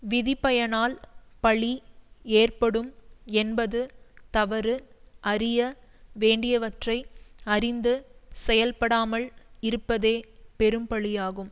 விதிப்பயனால் பழி ஏற்படும் என்பது தவறு அறிய வேண்டியவற்றை அறிந்து செயல்படாமல் இருப்பதே பெரும்பழியாகும்